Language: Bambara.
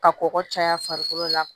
Ka kɔgɔ caya farikolo la